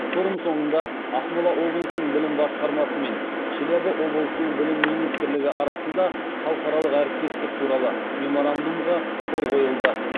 форум соңында ақмола облысының білім басқармасы мен челябі облысының білім министрлігі арасында халықаралық әріптестік туралы меморандумға қол қойылды